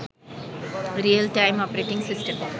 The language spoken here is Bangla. real time operating system